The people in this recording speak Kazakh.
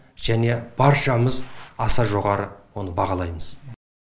және баршамыз аса жоғары оны бағалаймыз